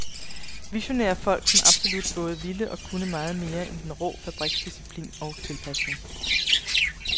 Visionære folk, som absolut både ville og kunne meget mere end den rå fabriksdisciplin og tilpasning.